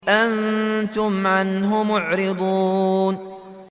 أَنتُمْ عَنْهُ مُعْرِضُونَ